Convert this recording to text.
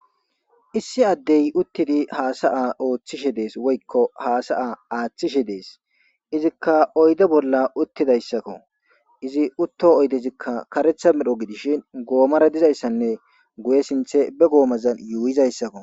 Issi addey uttidi haasa7a ooththishe dees woykko haasa7a aaththishe dees izikka oyde bolla uttidayssakko izi utto oydezikka karetha medho gidishin goomara dizayssanne guye sinthe be goomazan yuuyizayssakko.